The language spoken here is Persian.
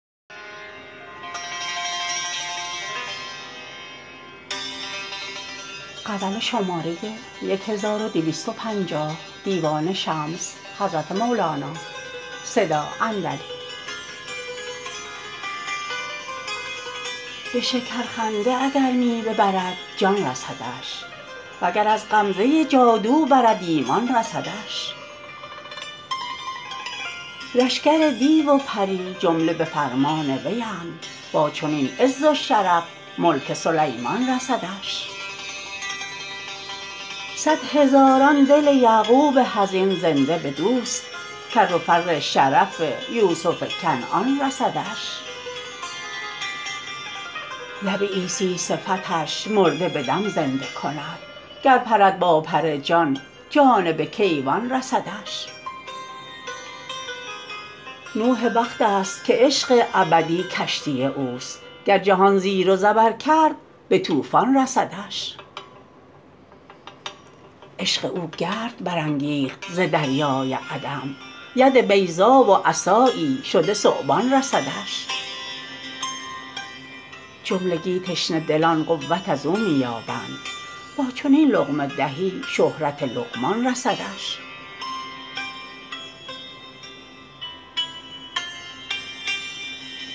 به شکرخنده اگر می ببرد جان رسدش وگر از غمزه جادو برد ایمان رسدش لشکر دیو و پری جمله به فرمان ویند با چنین عز و شرف ملک سلیمان رسدش صد هزاران دل یعقوب حزین زنده بدوست کر و فر شرف یوسف کنعان رسدش لب عیسی صفتش مرده به دم زنده کند گر پرد با پر جان جانب کیوان رسدش نوح وقتیست که عشق ابدی کشتی اوست گر جهان زیر و زبر کرد به طوفان رسدش عشق او گرد برانگیخت ز دریای عدم ید بیضا و عصایی شده ثعبان رسدش جملگی تشنه دلان قوت از او می یابند با چنین لقمه دهی شهرت لقمان رسدش